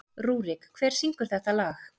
Rúrik, hver syngur þetta lag?